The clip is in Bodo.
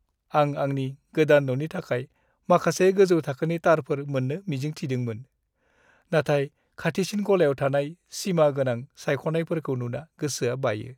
आं आंनि गोदान न'नि थाखाय माखासे गोजौ-थाखोनि तारफोर मोन्नो मिजिं थिदोंमोन, नाथाय खाथिसिन गलायाव थानाय सिमा-गोनां सायख'नायफोरखौ नुना गोसोआ बायो।